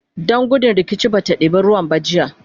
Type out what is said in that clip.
Dan gudun rikici bata ɗeba ruwan ba jiya